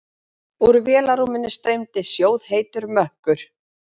Úr vélarrúminu streymdi sjóðheitur mökkur.